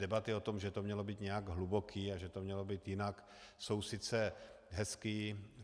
Debaty o tom, že to mělo být nějaké hluboké a že to mělo být jinak, jsou sice hezké.